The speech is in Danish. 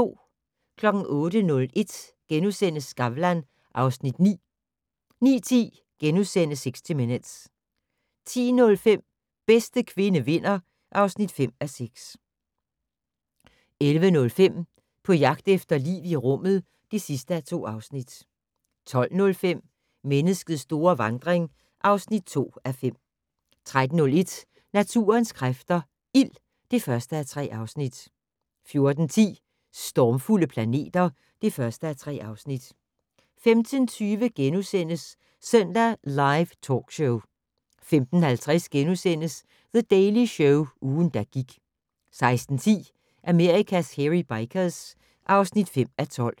08:01: Skavlan (Afs. 9)* 09:10: 60 Minutes * 10:05: Bedste kvinde vinder (5:6) 11:05: På jagt efter liv i rummet (2:2) 12:05: Menneskets store vandring (2:5) 13:01: Naturens kræfter - ild (1:3) 14:10: Stormfulde planeter (1:3) 15:20: Søndag Live Talkshow * 15:50: The Daily Show - ugen, der gik * 16:10: Amerikas Hairy Bikers (5:12)